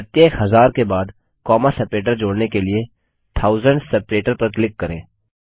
प्रत्येक हज़ार के बाद कौमा सेपरेटर जोड़ने के लिए थाउसेंड्स सेपरेटर पर क्लिक करें